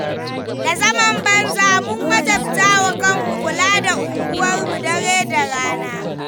Da zaman banza, mun wajabtawa kanmu kula da unguwarmu dare da rana.